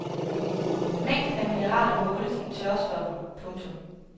Mængden af mineraler måles i tørstoffer. punktum